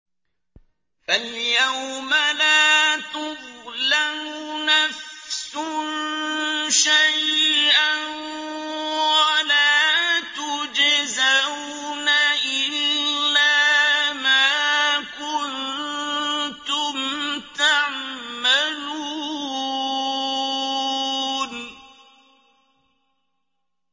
فَالْيَوْمَ لَا تُظْلَمُ نَفْسٌ شَيْئًا وَلَا تُجْزَوْنَ إِلَّا مَا كُنتُمْ تَعْمَلُونَ